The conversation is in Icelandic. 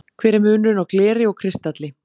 hver er munurinn á gleri og kristalli